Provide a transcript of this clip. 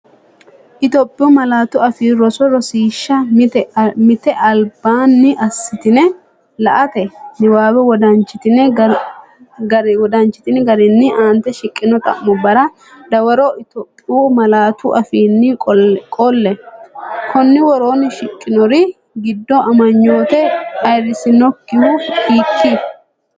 Itophiyu Malaatu Afii Roso Rosiishsha Mite Albaanni assitini la”ate niwaawe wodanchitini garinni aante shiqqino xa’mubbara dawaroItophiyu malaatu afiinni qolle, Konni woroonni shiqqinori giddo amanyoote ayirrisinokkihu hiik?